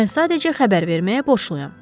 Mən sadəcə xəbər verməyə borçluyam.